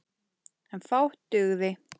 En fátt dugði.